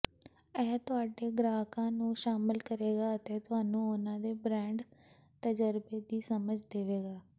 ਇਹ ਤੁਹਾਡੇ ਗ੍ਰਾਹਕਾਂ ਨੂੰ ਸ਼ਾਮਲ ਕਰੇਗਾ ਅਤੇ ਤੁਹਾਨੂੰ ਉਨ੍ਹਾਂ ਦੇ ਬ੍ਰਾਂਡ ਤਜਰਬੇ ਦੀ ਸਮਝ ਦੇਵੇਗਾ